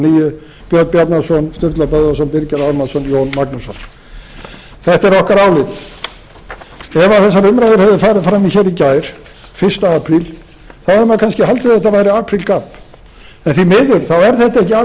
níu björn bjarnason sturla böðvarsson birgir ármannsson og jón magnússon þetta er okkar álit ef þessar umræður hefðu farið fram hér í gær fyrsta apríl hefði maður kannski haldið að þettaværi aprílgabb en því miður er þetta ekki